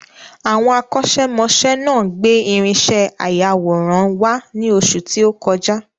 Àwọn akọ́ṣẹ́ mọṣẹ́ náà gbé irinṣẹ́ ayàwòrán wá ní oṣù tí o kọjá